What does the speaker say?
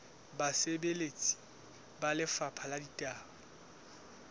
basebeletsi ba lefapha la ditaba